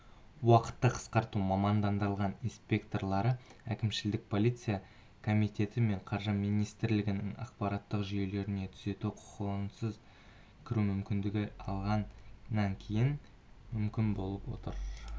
уақытты қысқарту мамандандырылған инспекторлары әкімшілік полициясы комитеті мен қаржы министрлігінің ақпараттық жүйелеріне түзету құқығынсыз кіру мүмкіндігін алғаннан кейін мүмкін болып отыр